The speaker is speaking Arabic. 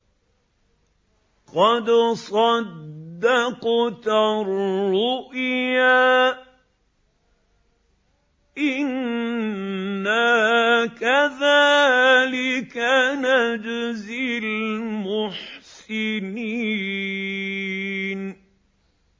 قَدْ صَدَّقْتَ الرُّؤْيَا ۚ إِنَّا كَذَٰلِكَ نَجْزِي الْمُحْسِنِينَ